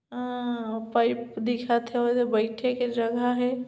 अ pipe दिखा थे अऊ एदे बईथे के जगह हे।